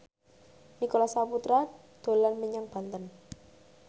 Nicholas Saputra dolan menyang Banten